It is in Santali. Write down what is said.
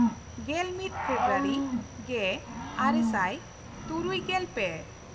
ᱜᱮᱞᱢᱤᱫ ᱯᱷᱮᱵᱨᱩᱣᱟᱨᱤ ᱜᱮᱼᱟᱨᱮ ᱥᱟᱭ ᱛᱩᱨᱩᱭᱜᱮᱞ ᱯᱮ